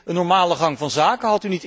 Is dit een normale gang van zaken?